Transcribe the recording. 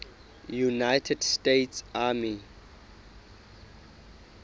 united states army